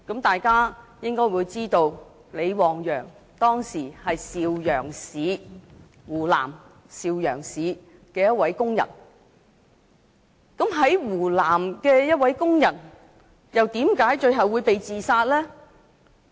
大家應該知道，李旺陽當時是湖南邵陽市的一名工人，在湖南的一名工人為何最後會被自殺？